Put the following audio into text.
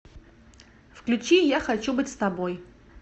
включи я хочу быть с тобой